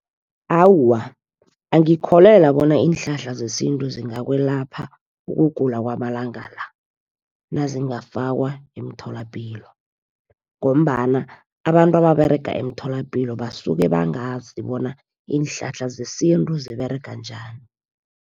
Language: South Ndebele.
Awa, angikholelwa bona iinhlahla zesintu zingakwelapha ukugula kwamalanga la, nazingafakwa emtholapilo. Ngombana abantu ababerega emtholapilo basuke bangazi bona iinhlahla zesintu ziberega njani.